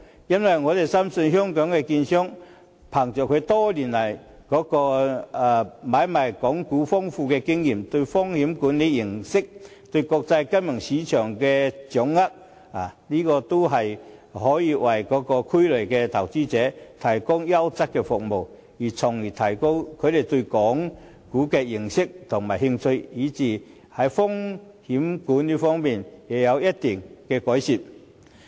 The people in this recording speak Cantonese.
因為我們深信香港的券商憑着他們多年來買賣港股的豐富經驗，對風險管理認識，以及對國際金融市場的掌握等，均可以為灣區內的投資者提供優質的服務，從而提高他們對港股以至風險管理方面的認識和興趣。